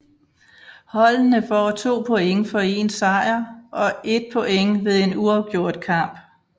Holdene får 2 point for en sejr og 1 point ved en uafgjort kamp